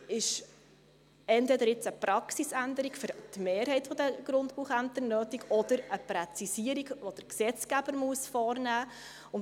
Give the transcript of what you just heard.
Deshalb ist jetzt entweder eine Praxisänderung für die Mehrheit der Grundbuchämter nötig oder eine Präzisierung, die der Gesetzgeber vornehmen muss.